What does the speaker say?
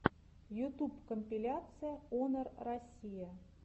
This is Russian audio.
ютуб компиляция онор россия